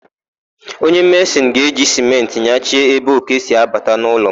Nwoke mesịn ga-eji sịmentị nyachie ébé òké si abata n'ụlọ m.